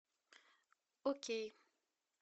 окей